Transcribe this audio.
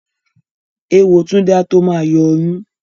Èwo Túndé á tó ma yọ ọyún